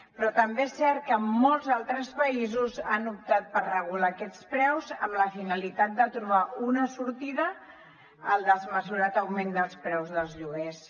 però també és cert que en molts altres països han optat per regular aquests preus amb la finalitat de trobar una sortida al desmesurat augment dels preus dels lloguers